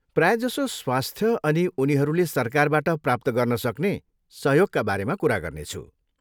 प्रायजसो स्वास्थ्य अनि उनीहरूले सरकारबाट प्राप्त गर्नसक्ने सहयोगका बारेमा कुरा गर्नेछु।